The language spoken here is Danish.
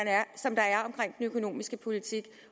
økonomiske politik